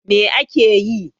Me yake yi?